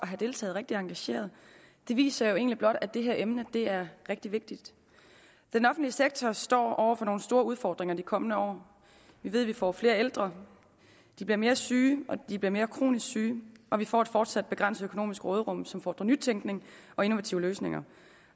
have deltaget rigtig engageret det viser jo egentlig blot at det her emne er rigtig vigtigt den offentlige sektor står over for nogle store udfordringer de kommende år vi ved vi får flere ældre de bliver mere syge de bliver mere kronisk syge at vi får et fortsat begrænset økonomisk råderum som fordrer nytænkning og innovative løsninger